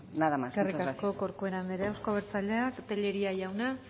nada más muchas gracias eskerrik asko corcuera andrea euzko abertzaleak tellería jauna